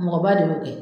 Mɔgɔba de bɛ kɛ